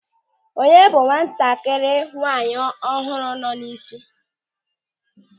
Onye bụ nwatakịrị nwaanyị ọhụrụ nọ n'isi?